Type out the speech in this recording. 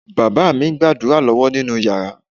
Bàbá mi ń gbàdúrà lọ́wọ́ nínú yàrá.